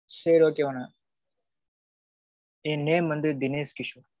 சேரி okay madam என் name வந்து தினேஷ் கிஷோன்.